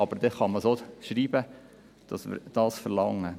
Dann kann man aber auch schreiben, dass wir dies verlangen.